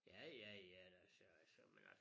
Ja ja ja da så så men altså